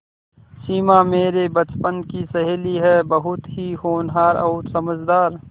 सिमा मेरे बचपन की सहेली है बहुत ही होनहार और समझदार